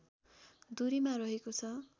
दूरीमा रहेको छ